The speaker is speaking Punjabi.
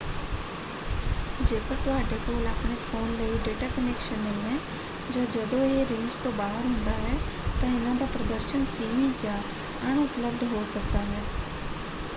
ਜੇਕਰ ਤੁਹਾਡੇ ਕੋਲ ਆਪਣੇ ਫ਼ੋਨ ਲਈ ਡੇਟਾ ਕਨੈਕਸ਼ਨ ਨਹੀਂ ਹੈ ਜਾਂ ਜਦੋਂ ਇਹ ਰੇਂਜ ਤੋਂ ਬਾਹਰ ਹੁੰਦਾ ਹੈ ਤਾਂ ਇਹਨਾਂ ਦਾ ਪ੍ਰਦਰਸ਼ਨ ਸੀਮਿਤ ਜਾਂ ਅਣਉਪਲਬਧ ਹੋ ਸਕਦਾ ਹੈ।